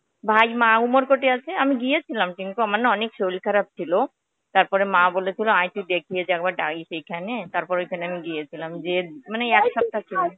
ভাই মা, উমরকট এ আছে. আমি গিয়েছিলাম টিঙ্কু আমারনা অনেক শরীর খারাপ ছিলো. তারপরে মা বলেছিল আয় একটু দেখিয়ে যা একবার ডাইশ এইখানে তারপর ঐখানে আমি গিয়েছিলাম যে মানে একসপ্তাহের জন্যে